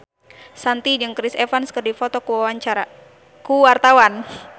Shanti jeung Chris Evans keur dipoto ku wartawan